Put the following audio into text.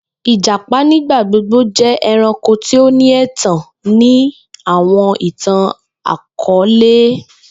Ijapa nigbagbogbo jẹ ẹranko ti o ni ẹtan ni awọn itan-akọọlẹ